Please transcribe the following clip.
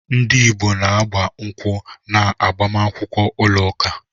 Ndị Igbo na-agba nkwụ́ na agbamakwụkwọ ụlọ ụka.